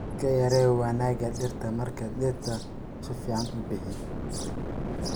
Iska yaree wanaagga dhirta marki dhirta suficn ubihi